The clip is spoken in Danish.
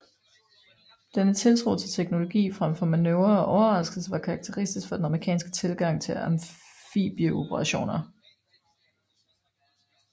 Denne tiltro til teknologi frem for manøvre og overraskelse var karakteristisk for den amerikanske tilgang til amfibieoperationer